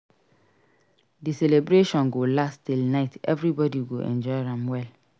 Di celebration go last till night everybody go enjoy am well.